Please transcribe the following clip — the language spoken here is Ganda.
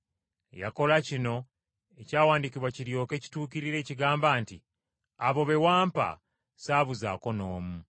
Yakola kino, ekyawandiikibwa kiryoke kituukirire ekigamba nti, “Abo be wampa saabuzaako n’omu.”